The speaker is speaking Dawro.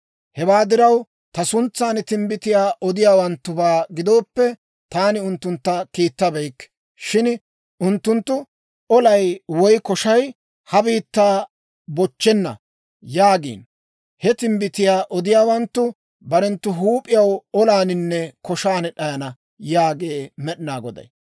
Hewaa diraw, Ta suntsan timbbitiyaa odiyaawanttubaa gidooppe, taani unttuntta kiittabeykke. Shin unttunttu, ‹Olay woy koshay ha biittaa bochchenna› yaagiino. He timbbitiyaa odiyaawanttu barenttu huup'iyaw olaaninne koshan d'ayana yaagee med'inaa Goday!